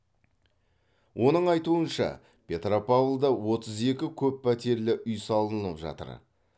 оның айтуынша петропавлда отыз екі көп пәтерлі үй салынып жатыр